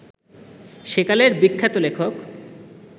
সেকালের বিখ্যাত লেখক